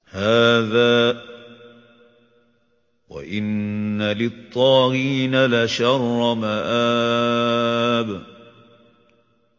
هَٰذَا ۚ وَإِنَّ لِلطَّاغِينَ لَشَرَّ مَآبٍ